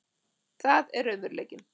Það er raunveruleikinn.